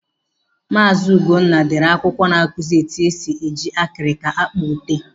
Maazi Ugonna dere akwụkwọ na-akụzi etu esi eji akirika akpa ute.